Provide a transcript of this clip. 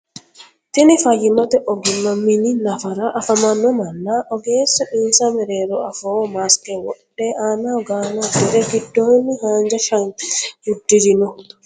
Tini fayimate oggimma mini nafara afamano manana ogeesu insa mereero afooho maske wodhe aanaho gaane udire gidooni haanja shanize udirino.